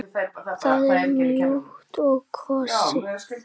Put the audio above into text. Það er mjúkt og kósí.